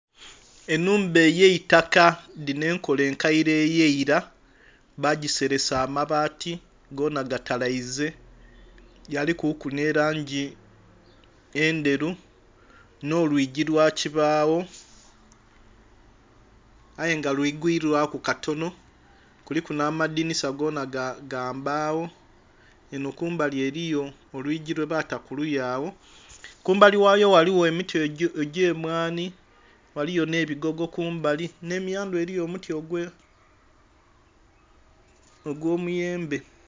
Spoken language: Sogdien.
Enhumba eyaitaka dhino enkola enkaire eyaira bagiseresa abaati gona gatalaize galikuku nherangi endheru nholwigi lwakibagho aye nga lwiigwiirwa ku katono kuliku namadhisa gona gambagho eno kumbali eriyo olwigi lwebata kuliya agho, kumbali ghayo ghaligho emiti egyemwani, ghaligho n'ebigogo kumbali, n'emiyandhu eriyo omuti ogw'omuyembe.